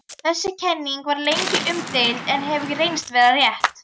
Þessi kenning var lengi umdeild en hefur reynst vera rétt.